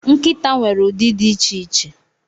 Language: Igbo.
Nkịta nwere ụdị dị iche iche.